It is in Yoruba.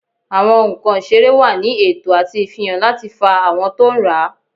Awọn nkan iserẹ wa ní eto ati ifihan lati fa awọn to n rá.